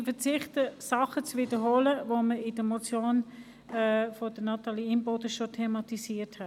Ich verzichte darauf, das zu wiederholen, was wir bereits in der Debatte über die Motion von Natalie Imboden () thematisiert haben.